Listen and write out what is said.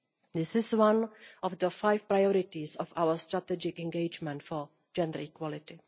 This is one of the five priorities of our strategic engagement for gender equality.